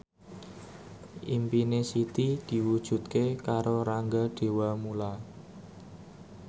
impine Siti diwujudke karo Rangga Dewamoela